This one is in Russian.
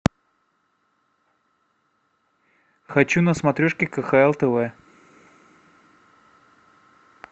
хочу на смотрешке кхл тв